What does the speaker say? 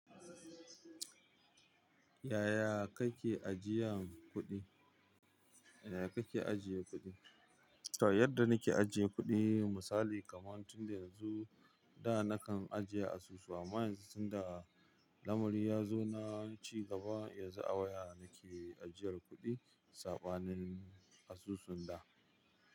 Yaya kake ajiyan kuɗi? Yadda nike ajiye kuɗi misali kaman tun da yanzu da nakan ajiye asusu amma yanzu tunda lamari ya zo na cigaba yanzu a waya nike ajiyar kuɗi saɓanin asusun da.